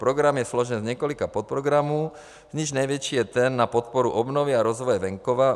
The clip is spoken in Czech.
Program je složen z několika podprogramů, z nichž největší je ten na podporu obnovy a rozvoje venkova.